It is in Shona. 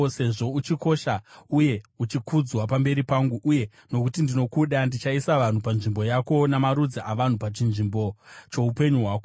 Sezvo uchikosha uye uchikudzwa pamberi pangu, uye nokuti ndinokuda, ndichaisa vanhu panzvimbo yako, namarudzi avanhu pachinzvimbo choupenyu hwako.